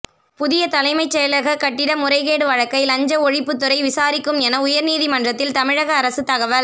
புதிய தலைமைச் செயலக கட்டிட முறைகேடு வழக்கை லஞ்ச ஒழிப்புத்துறை விசாரிக்கும் என உயர்நீதிமன்றத்தில் தமிழக அரசு தகவல்